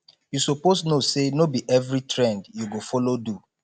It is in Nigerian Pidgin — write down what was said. you suppose know say no be every trend you go follow do